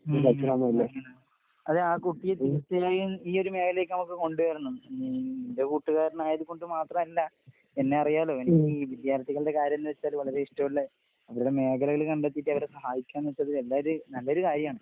ഉം ഉം അങ്ങനെ. അതെ ആ കുട്ടി തീർച്ചയായും ഈയൊരു മേഖലേക്ക് നമുക്ക് കൊണ്ടുവരണം. ഉം നിന്റെ കൂട്ടുകാരനായത് കൊണ്ട് മാത്രല്ല, എന്നെയറിയാലോ എനിക്കീ വിദ്യാർഥികൾടെ കാര്യംന്ന് വെച്ചാല് വളരെ ഇഷ്ടോള്ള അവരുടെ മേഖലകള് കണ്ടെത്തീട്ടവരെ സഹായിക്കാന്നെച്ചത് എല്ലാരു നല്ലൊരു കാര്യാണ്.